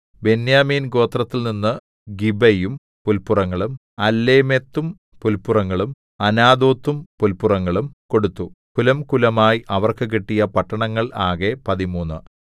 ബെന്യാമീൻ ഗോത്രത്തിൽനിന്ന് ഗിബയും പുല്പുറങ്ങളും അല്ലേമെത്തും പുല്പുറങ്ങളും അനാഥോത്തും പുല്പുറങ്ങളും കൊടുത്തു കുലംകുലമായി അവർക്ക് കിട്ടിയ പട്ടണങ്ങൾ ആകെ പതിമൂന്ന്